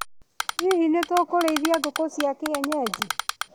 Hihi nĩ tũkũrĩithia ngũkũ cia kienyeji.